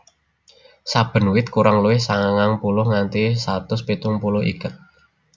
Saben wit kurang luwih sangang puluh nganti satus pitung puluh iket